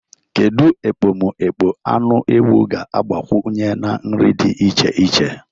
Kedu ekpomekpo anụ ewu ga-agbakwunye na nri di iche iche?